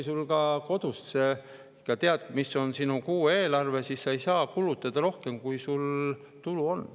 Ka kodus sa tead, mis on sinu kuueelarve, ega saa kulutada rohkem, kui sul tulu on.